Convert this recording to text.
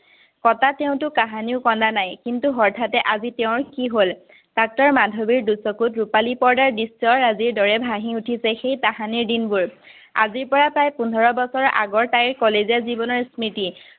কতা, তেওঁ কাহানিও কন্দা নায়। কিন্তু, হৰ্ঠাতে তেওঁৰ আজি কি হল। ডাক্তৰ মাধৱীৰ দুচকুত ৰূপালী পৰ্দাৰ দৃশ্যৰ দৰে আজি ভাঁহি উঠিছে, সেই তাহানিৰ দিনবোৰ। আজিৰপৰা প্ৰায় পোন্ধৰ বছৰমান আগৰ তাইৰ কলেজীয়া জীৱনৰ স্মৃতি